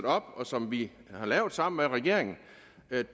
op og som vi har lavet sammen med regeringen